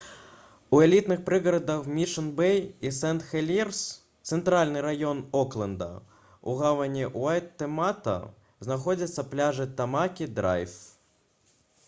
у элітных прыгарадах мішн-бэй і сент-хелірс цэнтральны раён окленда у гавані уэйтэмата знаходзяцца пляжы тамакі-драйв